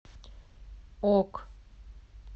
ок